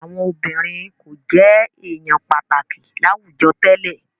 Àwọn obìnrin kò jẹ èèyàn pàtàkì láwùjọ tẹ́lẹ̀